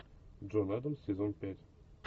джон адамс сезон пять